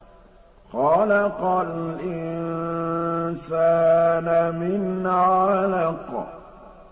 خَلَقَ الْإِنسَانَ مِنْ عَلَقٍ